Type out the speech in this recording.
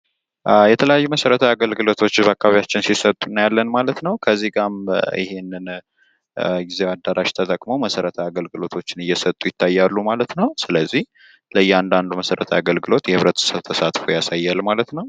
የተለያዩ መሠረታዊ አገልግሎቶች በአካባቢያችን ሲሰጡ እያለን ማለት ነው ከዚህ ጋር ይሄንን ጊዚያዊ አዳራሽ ተጠቅመው መሰረተ አገልግሎቶችን እየሰጡ ይታያሉ ማለት ነው ስለዚህ ለእያንዳንዱ መሰረት ያገልግሎት የህብረተሰብ ተሳትፎ ያሳያል ማለት ነው